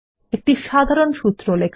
একটি সাধারণ সূত্র লেখা